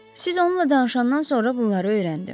Siz onunla danışandan sonra bunları öyrəndi.